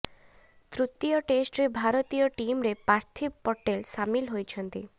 ତୃତୀୟ ଟେଷ୍ଟରେ ଭାରତୀୟ ଟିମ୍ରେ ପାର୍ଥିବ ପଟେଲ ସାମିଲ ହୋଇଛନ୍ତି